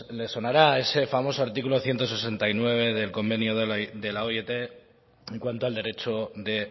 sonará ese famoso artículo ciento sesenta y nueve del convenio de la oit en cuanto al derecho de